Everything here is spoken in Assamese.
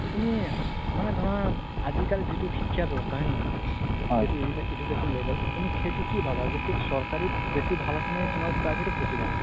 তুমি মানে ধৰা আজিকালি যিতো শিক্ষা ব্যৱস্থা হয় নে নহয় education level তুমি সেইটো কি ভাবা কি সেইটো চৰকাৰিত বেচি ভাল আছে নে private ত বেচি ভাল আছে